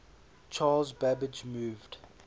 charles babbage moved